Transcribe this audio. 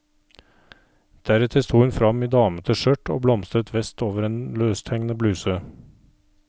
Deretter sto hun fram i damete skjørt og blomstret vest over en løsthengende bluse.